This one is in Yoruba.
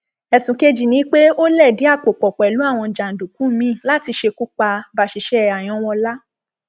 ẹsùn kejì ni pé ó lẹdí àpò pọ pẹlú àwọn jàǹdùkú míín láti ṣekú pa báṣiṣẹ àyànwọla